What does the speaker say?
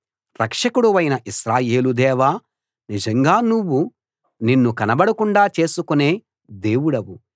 రక్షకుడవైన ఇశ్రాయేలు దేవా నిజంగా నువ్వు నిన్ను కనబడకుండా చేసుకునే దేవుడవు